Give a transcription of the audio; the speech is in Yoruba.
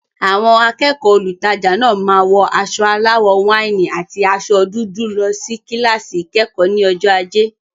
Àwọn akẹ́kọ̀ọ́ olùtajà náà máa wọ aṣọ aláwọ̀ wáìnì àti aṣọ dúdú lọ sí kíláàsì ìkẹ́kọ̀ọ́ ní ọjọ́ ajé.